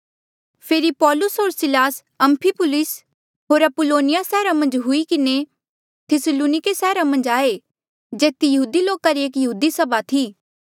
फेरी पौलुस होर Silas Amphipolis होर अपुल्लोनिया सैहरा मन्झ हुई किन्हें थिस्सलुनिके सैहरा मन्झ आये जेथी यहूदी लोका री एक यहूदी सभा थी